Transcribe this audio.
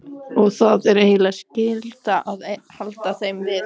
Og það er eiginlega skylda að halda þeim við.